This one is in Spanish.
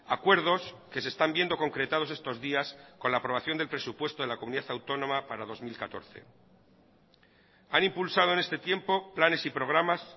acuerdos que se están viendo concretados estos días con la aprobación del presupuesto de la comunidad autónoma para dos mil catorce han impulsado en este tiempo planes y programas